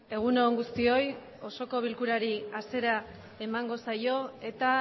egun on guztioi osoko bilkurari hasiera emango zaio eta